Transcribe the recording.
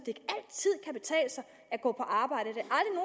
at gå på arbejde